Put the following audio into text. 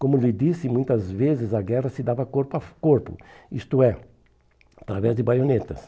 Como lhe disse, muitas vezes a guerra se dava corpo a corpo, isto é, através de baionetas.